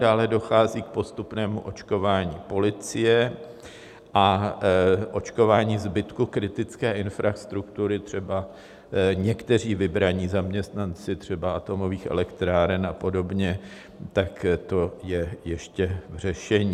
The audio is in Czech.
Dále dochází k postupnému očkování policie a očkování zbytku kritické infrastruktury, třeba někteří vybraní zaměstnanci, třeba atomových elektráren a podobně, tak to je ještě v řešení.